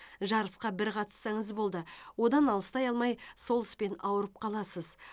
жарысқа бір қатыссаңыз болды одан алыстай алмай сол іспен ауырып қаласыз